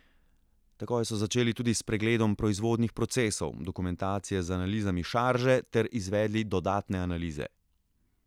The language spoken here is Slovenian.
Takoj so začeli tudi s pregledom proizvodnih procesov, dokumentacije z analizami šarže ter izvedli dodatne analize.